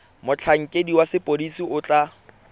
motlhankedi wa sepodisi o tla